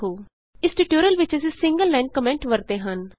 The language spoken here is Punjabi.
ਇਸ ਟਿਯੂਟੋਰਿਅਲ ਵਿਚ ਅਸੀਂ ਸਿੰਗਲ ਲਾਈਨ ਕੋਮੈਂਟ ਵਰਤੇ ਹਨ